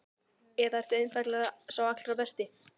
Eða ertu einfaldlega sá allra besti?